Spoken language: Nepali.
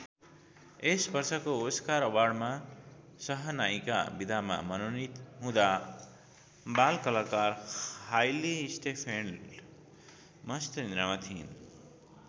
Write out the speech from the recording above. यस वर्षको ओस्कार अवार्डमा सहनायिका विधामा मनोनित हुँदा बालकलाकार हाइली स्टेनफेल्ड मस्त निद्रामा थिइन्।